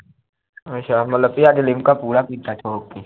ਅੱਛਾ ਮਤਲਬ ਭਜਾ ਕੇ ਲਿਮਕਾ ਪੂਰਾ ਪੀਤਾ ਠੋਕ ਕੇ